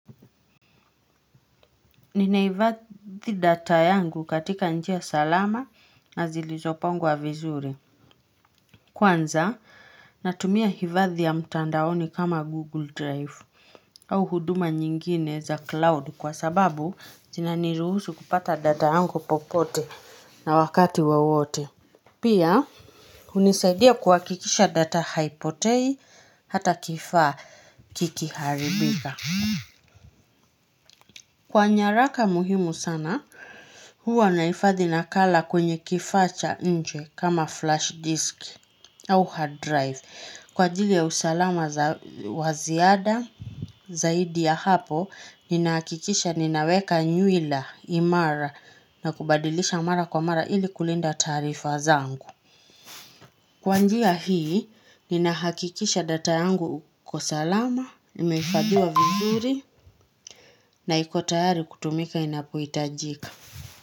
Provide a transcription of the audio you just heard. Ninahivadhi data yangu katika njia salama na zilizopangwa vizuri. Kwanza, natumia hivadhi ya mtandaoni kama Google Drive au huduma nyingine za cloud kwa sababu zina niruhusu kupata data yangu popote na wakati wowote. Pia, hunisaidia kuhakikisha data haipotei hata kifaa kikiharibika. Kwa nyaraka muhimu sana, huwa nahifadhi na kala kwenye kifaa cha ncje kama flash disk au hard drive. Kwa jili ya usalama waziada zaidi ya hapo, nina hakikisha ninaweka nyuila imara na kubadilisha mara kwa mara ili kulinda tarifa zangu. Kwa njia hii, nina hakikisha data yangu uko salama, imehifahiwa vizuri na ikotayari kutumika inapohita jika.